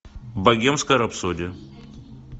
богемская рапсодия